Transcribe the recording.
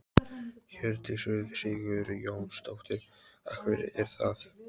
Hjördís Rut Sigurjónsdóttir: Af hverju er það?